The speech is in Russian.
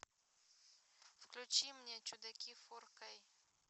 включи мне чудаки фор кей